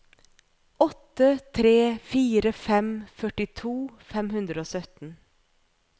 åtte tre fire fem førtito fem hundre og sytten